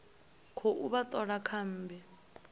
khou vha thola kha mmbi